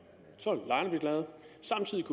og samtidig